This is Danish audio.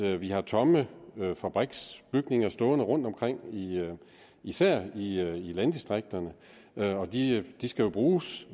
at vi har tomme fabriksbygninger stående rundtomkring især i landdistrikterne og de skal jo bruges